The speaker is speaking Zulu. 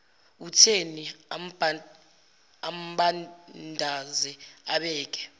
utheni ambandaze abike